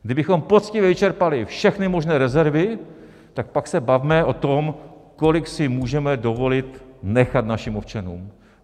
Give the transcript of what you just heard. Kdybychom poctivě vyčerpali všechny možné rezervy, tak pak se bavme o tom, kolik si můžeme dovolit nechat našim občanům.